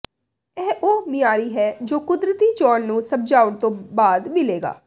ਇਹ ਉਹ ਮਿਆਰੀ ਹੈ ਜੋ ਕੁਦਰਤੀ ਚੋਣ ਨੂੰ ਸਮਝਾਉਣ ਤੋਂ ਬਾਅਦ ਮਿਲੇਗਾ